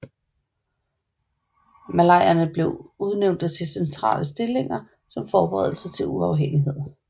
Malayer blev udnævnte til centrale stillinger som forberedelse til uafhængighed